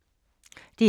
DR K